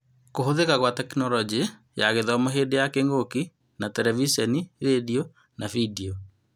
Kũhũthĩka kwa Tekinoronjĩ ya Githomo hĩndĩ ya kĩng'ũki na Terebiceni, rendio, bindio